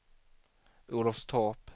Olofstorp